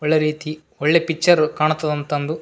ಒಳ್ಳೆ ರೀತಿ ಒಳ್ಳೆ ಪಿಚ್ಚರು ಕಾಣ್ತವ್ ಅಂತ್ ಅಂದು --